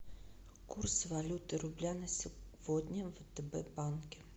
курс валюты рубля на сегодня в втб банке